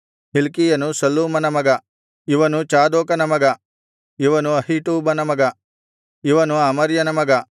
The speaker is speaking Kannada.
ಹಿಲ್ಕೀಯನು ಶಲ್ಲೂಮನ ಮಗ ಇವನು ಚಾದೋಕನ ಮಗ ಇವನು ಅಹೀಟೂಬನ ಮಗ ಇವನು ಅಮರ್ಯನ ಮಗ